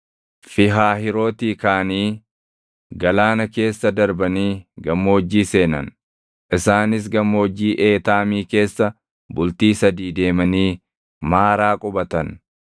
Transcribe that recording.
Fiihahiirootii kaʼanii galaana keessa darbanii gammoojjii seenan; isaanis Gammoojjii Eetaamii keessa bultii sadii deemanii Maaraa qubatan.